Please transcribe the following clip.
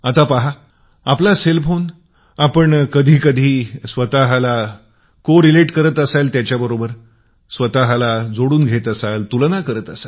आपण आपल्या मोबाईल फोनला सहसंबंधित करीत असाल